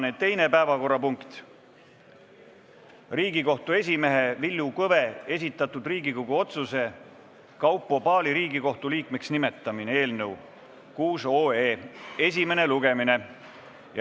Tänane teine päevakorrapunkt on Riigikohtu esimehe Villu Kõve esitatud Riigikogu otsuse "Kaupo Paali Riigikohtu liikmeks nimetamine" eelnõu 6 esimene lugemine.